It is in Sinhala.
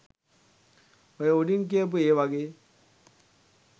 ඔය උඩින් කියපු ඒවගෙන්